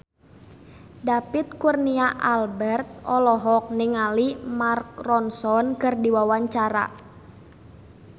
David Kurnia Albert olohok ningali Mark Ronson keur diwawancara